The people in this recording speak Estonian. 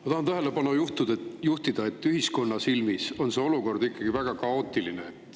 Ma tahan tähelepanu juhtida sellele, et ühiskonna silmis on see olukord ikkagi väga kaootiline.